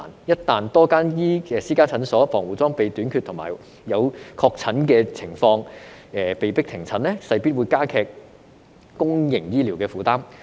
一旦多間私家診所防護裝備短缺和有確診的情況而被迫停診，勢必加劇公營醫療的負擔。